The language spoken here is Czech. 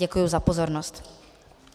Děkuji za pozornost.